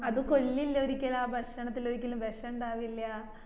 അത് കൊള്ളില്ല ഒരിക്കലും ആ ഭക്ഷണത്തില് ഒരിക്കലും വിഷം ഇണ്ടാവില്യ